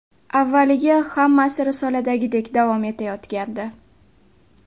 Avvaliga hammasi risoladagidek davom etayotgandi.